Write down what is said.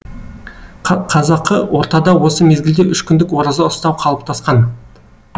қазақы ортада осы мезгілде үш күндік ораза ұстау қалыптасқан